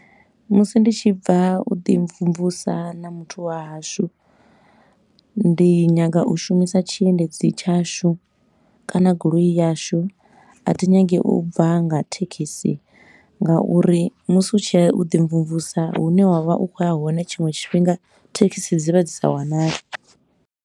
Musi ndi tshi bva u ḓi mvumvusa na muthu wa hashu, ndi nyaga u shumisa tshiendedzi tshashu kana goloi yashu. A thi nyagi u bva nga thekhisi nga uri musi u tshi ya u ḓi mvumvusa hune wa vha u khou ya hone tshiṅwe tshifhinga thekhisi dzi vha dzi sa wanali.